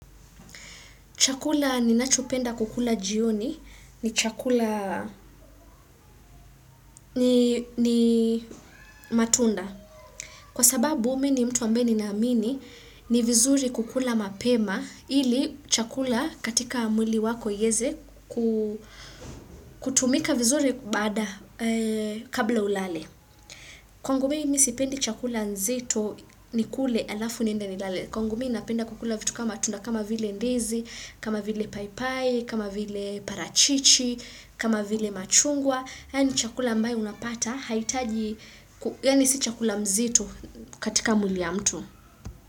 Chakula ninachopenda kukula jioni ni chakula ni matunda. Kwa sababu mimi ni mtu ambaye ninaamini ni vizuri kukula mapema ili chakula katika mwili wako iyeze kutumika vizuri baada kabla ulale. Kwangu mimi mi sipendi chakula nzito nikule alafu niende nilale. Kwangu mi napenda kukula vitu kama tunda kama vile ndizi, kama vile paipai, kama vile parachichi, kama vile machungwa. Yani chakula ambayo unapata, haitaji, yani si chakula mzito katika mwili ya mtu.